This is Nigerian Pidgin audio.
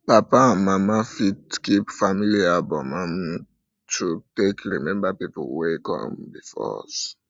papa and mama fit um keep family album um to fit take remember people wey don come before us